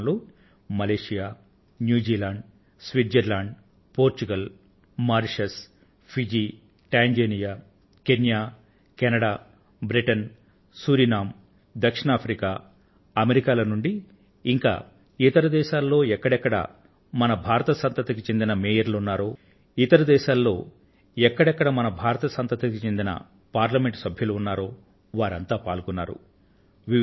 ఆ కార్యక్రమంలో Malaysia New Zealand Switzerland Portugal Mauritius Fiji Tanzania Kenya Canada Britain Suriname దక్షిణ Africa ఇంకా అమెరికాల నుండి ఇంకా ఇతర దేశాలలో ఎక్కడెక్కడ మన భారత సంతతికి చెందిన మేయర్లు ఉన్నారో ఇతర దేశాలలో ఎక్కడెక్కడ మన భారత సంతతికి చెందిన పార్లమెంట్ సభ్యులు ఉన్నారో వారంతా పాల్గొన్నారు